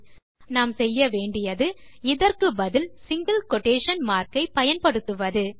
ஆகவே நாம் செய்ய வேன்டியது இதற்கு பதில் சிங்கில் குயோடேஷன் மார்க் ஐ ப்பயன்படுத்துவது